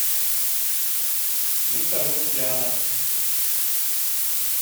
виктор лукьянов